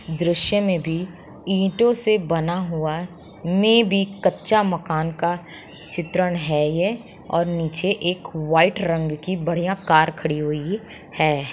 दृस्य में भी ईटे से बना हुआ मेबी कच्चा मकान का चित्रण है ये और निचे एक वाइट रंग की बढ़िया कार खड़ी हुई है|